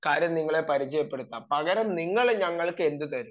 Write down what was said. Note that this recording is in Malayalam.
കാര്യം നിങ്ങളെ പരിചയപ്പെടുത്താം പകരം നിങ്ങൾ ഞങ്ങൾക്ക് എന്ത് തരും